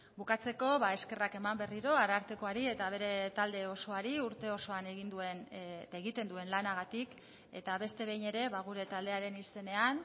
bukatzeko eskerrak eman berriro arartekoari eta bere talde osoari urte osoan egin duen egiten duen lanagatik eta beste behin ere gure taldearen izenean